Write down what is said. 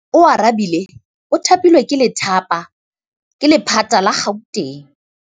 Oarabile o thapilwe ke lephata la Gauteng.